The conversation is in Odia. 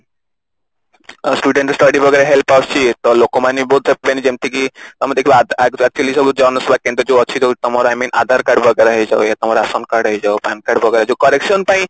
student study ବଗେରା ରେ help ଆସୁଛି ତ ଲୋକମାନେ ବି ବହୁତ ଯେମତି କି ତମେ ଦେଖିବ ଆ actually ସବୁ ଜନସେବା କେନ୍ଦ୍ର ଯୋଉ ଅଛି ଯୋଉ ତମର I mean ଆଧାର card ବଗେରା ହେଇ ଯାଉ ବା ରାସନ card ହେଇଯାଉ PAN card ବଗେରା ଯୋଉ correction ପାଇଁ